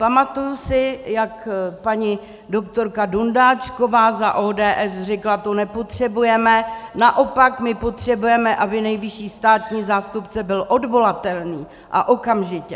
Pamatuji si, jak paní doktorka Dundáčková za ODS řekla, tu nepotřebujeme, naopak my potřebujeme, aby nejvyšší státní zástupce byl odvolatelný a okamžitě.